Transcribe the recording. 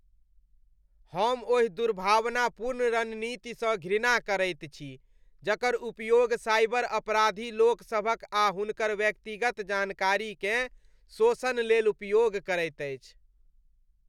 हम ओहि दुर्भावनापूर्ण रणनीतिसँ घृणा करैत छी जकर उपयोग साइबर अपराधी लोकसभक आ हुनकर व्यक्तिगत जानकारीकेँ शोषण लेलउपयोग करैत अछि।